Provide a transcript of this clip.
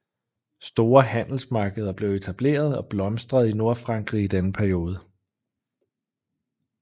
Store handelsmarkeder blev etableret og blomstrede i Nordfrankrig i denne periode